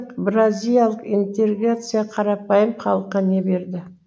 бразиялық интеграция қарапайым халыққа не берді